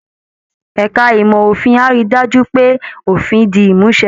Ẹ̀ka ìmọ̀ òfin á rí i dájú pé òfin di ìmúṣẹ